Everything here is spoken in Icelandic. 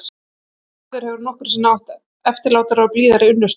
Enginn maður hefur nokkru sinni átt eftirlátari og blíðari unnustu.